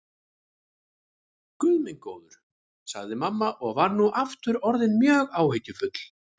Guð minn góður, sagði mamma og var nú aftur orðin mjög áhyggjufull.